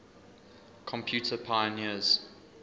computer pioneers